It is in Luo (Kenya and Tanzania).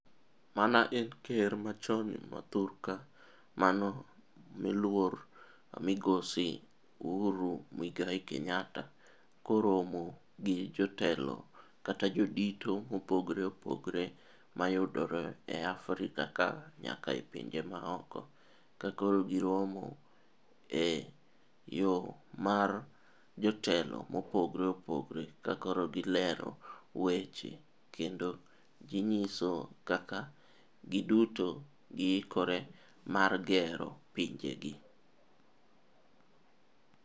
Mana en ker machon ma thur ka mano miluor migosi Uhuru Muigai Kenyatta koromo gi jotelo kata jodito mopogre opogre mayudore e Afrika ka nyaka e pinje maoko ka koro giromo e yo mar jotelo mopogre opogre ka koro gilero weche kendo ginyiso kaka giduto giikore mar gero pinjegi.